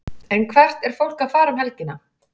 En hvert er fólk að fara um helgina?